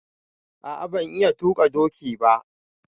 A'a ban iya tuƙa ɗoki ba.